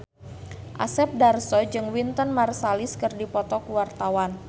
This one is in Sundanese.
Asep Darso jeung Wynton Marsalis keur dipoto ku wartawan